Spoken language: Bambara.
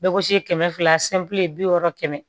Bɛ gosi kɛmɛ fila bi wɔɔrɔ kɛmɛ